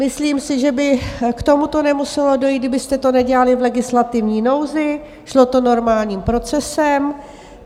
Myslím si, že by k tomuto nemuselo dojít, kdybyste to nedělali v legislativní nouzi, šlo to normálním procesem.